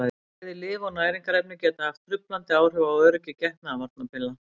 Bæði lyf og næringarefni geta haft truflandi áhrif á öryggi getnaðarvarnarpilla.